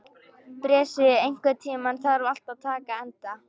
Bresi, einhvern tímann þarf allt að taka enda.